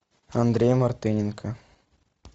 андрей мартыненко